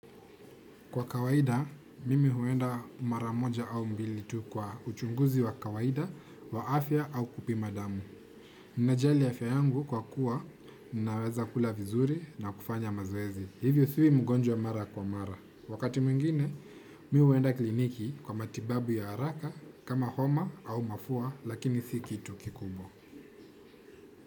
Kwa kawaida, mimi huenda mara moja au mbili tu kwa uchunguzi wa kawaida, wa afya au kupima damu. Ninajali afya yangu kwa kuwa, ninaweza kula vizuri na kufanya mazoezi. Hivyo siwi mgonjwa mara kwa mara. Wakati mwingine, mimi huenda clinic kwa matibabu ya haraka kama homa au mafua lakini si kitu kikubwa.